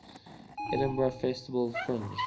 edinburgh festival fringe